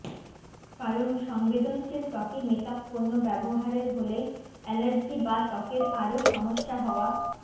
কারণ সংবেদনশীল ত্বকে মেকআপ পণ্য ব্যবহারের হলেই অ্যালার্জি বা ত্বকের আরও সমস্যা হওয়া